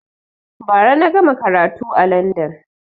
Ba ra na gama karatu a landan